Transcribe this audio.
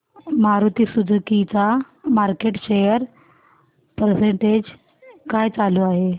Maruti Suzuki चा market share percentage काय चालू आहे